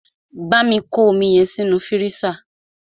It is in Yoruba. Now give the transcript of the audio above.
Bámi kọ́ omi yẹn sínú fírísà!